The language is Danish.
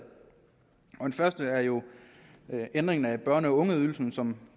første er jo ændringen af børne og ungeydelsen som